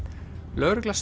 lögregla